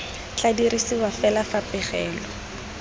tla dirisiwa fela fa pegelo